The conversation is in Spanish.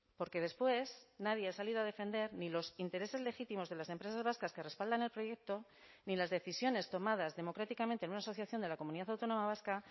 porque después nadie ha salido a defender ni los intereses legítimos de las empresas vascas que respaldan el proyecto ni las decisiones tomadas democráticamente en una asociación de la comunidad autónoma vasca